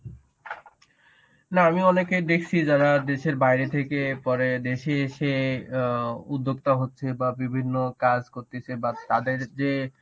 না আমি অনেকেই দেখছি যারা দেশের বাইরে থেকে পরে দেশে এসে অ্যাঁ উদ্যোক্তা হচ্ছে বা বিভিন্ন কাজ করতেছে বা তাদের যে